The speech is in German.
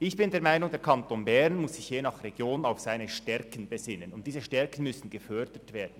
Ich bin der Meinung, der Kanton Bern müsse sich je nach Region auf seine Stärken besinnen, und diese Stärken müssen gefördert werden.